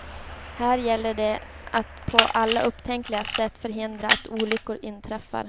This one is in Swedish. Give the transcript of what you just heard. Här gäller det att på alla upptänkliga sätt förhindra att olyckor inträffar.